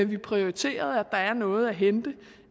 vi prioriterede at der er noget at hente